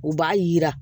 U b'a yira